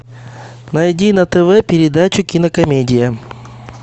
найди на тв передачу кинокомедия